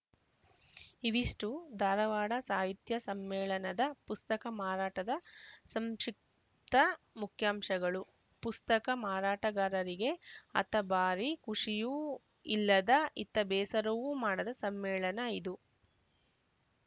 ಇವಿಷ್ಟುಧಾರವಾಡ ಸಾಹಿತ್ಯ ಸಮ್ಮೇಳನದ ಪುಸ್ತಕ ಮಾರಾಟದ ಸಂಕ್ಷಿಪ್ತ ಮುಖ್ಯಾಂಶಗಳು ಪುಸ್ತಕ ಮಾರಾಟಗಾರರಿಗೆ ಅತ್ತ ಭಾರಿ ಖುಷಿಯೂ ಇಲ್ಲದ ಇತ್ತ ಬೇಸರವೂ ಮಾಡದ ಸಮ್ಮೇಳನ ಇದು